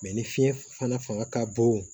ni fiɲɛ fana ka bon